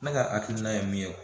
Ne ka hakilina ye min ye